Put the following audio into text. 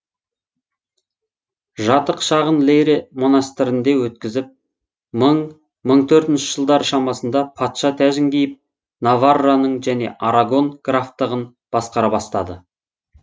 жатық шағын лейре монастырінде өткізіп мың мың төртінші жылдар шамасында патша тәжін киіп наварраның және арагон графтығын басқара бастады